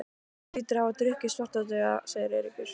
Hann hlýtur að hafa drukkið Svartadauða, sagði Eiríkur.